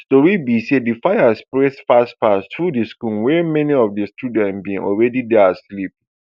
tori be say di fire spread fastfast through di school wia many of di children bin already dey asleep